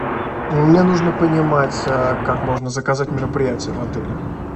мне нужно понимать как можно заказать мероприятие в отеле